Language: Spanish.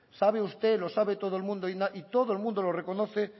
sabe usted lo sabe todo el mundo y todo el mundo lo reconoce